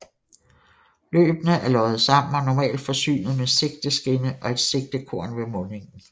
Løbene er loddet sammen og normalt forsynet med sigteskinne og et sigtekorn ved mundingen